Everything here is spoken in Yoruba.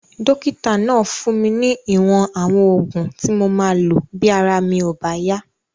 Dókítà náà fún mi ní ìwọ̀n àwọn oògùn tí mo máa lò bí ara mi ò bá yá